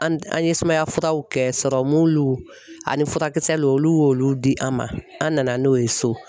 An an ye sumaya furaw kɛ, sɔrɔmuluw ,ani furakisɛluw, olu y'olu di an ma, an nana n'o ye so.